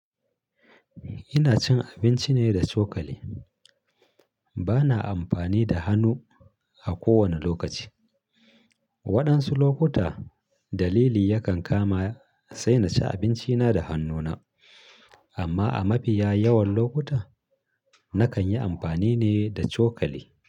Ina cin abinci ne da cokali. Bana amfani da hannu a kowane lokaci. Waɗansu lokuta dalili yakan kama sai na ci abinci na da hannuna. Amma a mafiya yawan lokuta nakan yi amfani ne da cokali.